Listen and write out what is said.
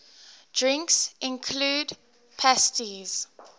drinks include pastis